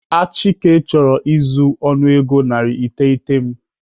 Achike chọrọ izu ọnụego narị iteghete m